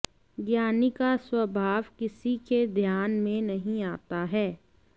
ज्ञानी का स्वभाव किसी के ध्यान में नहीं आता है